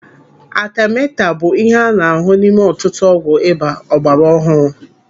Atemeta bụ ihe a na-ahụ n'ime ọtụtụ ọgwụ ịba ọgbara ọhụụ.